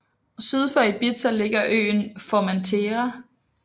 Syd for Ibiza ligger øen Formentera